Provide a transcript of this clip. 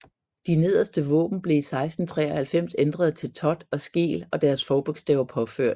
De nederste våben blev i 1693 ændret til Thott og Skeel og deres forbogstaver påført